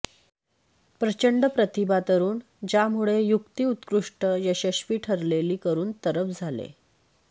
प्रचंड प्रतिभा तरुण ज्यामुळे युक्ती उत्कृष्ट यशस्वी ठरलेली करून तरफ झाले